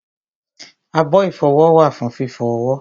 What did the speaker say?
abọ́ ìfọwọ́ wà fún fífọ ọwọ́